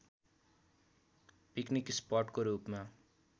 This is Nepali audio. पिकनिक स्पटको रूपमा